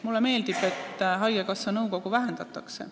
Mulle meeldib, et haigekassa nõukogu koosseisu vähendatakse.